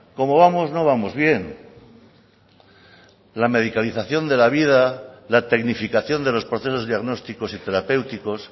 como vamos no vamos bien la medicalización de la vida la tecnificación de los procesos diagnósticos y terapéuticos